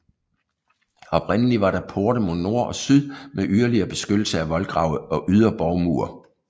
Oprindeligt var der porte mod nord og syd med yderligere beskyttelse af voldgrave og ydre borgmure